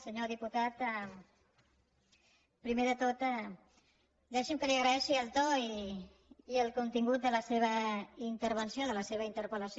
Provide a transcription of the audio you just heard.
senyor diputat primer de tot deixi’m que li agraeixi el to i el contingut de la seva intervenció de la seva interpel·lació